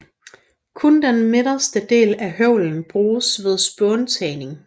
Kun den midterste del af høvlen bruges ved spåntagning